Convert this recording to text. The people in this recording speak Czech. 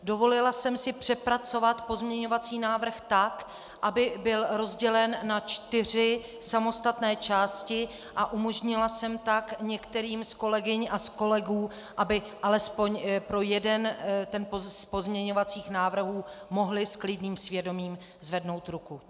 Dovolila jsem si přepracovat pozměňovací návrh tak, aby byl rozdělen na čtyři samostatné části, a umožnila jsem tak některým z kolegyň a z kolegů, aby alespoň pro jeden z pozměňovacích návrhů mohli s klidným svědomím zvednout ruku.